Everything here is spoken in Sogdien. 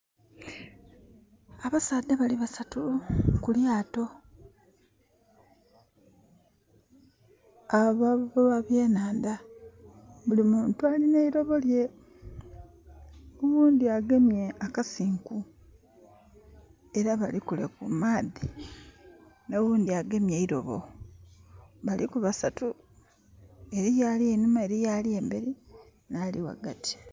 Abasaadha bali basaatu kulyaato, abavubi ababyenandha, buli muntu alina eilobo lye. Owundi agemye akasinku era bali kule kumaadhi owundi agemye eilobo baliku basaatu. Eriyo ali einhuma eriyo ali emberi nali wagati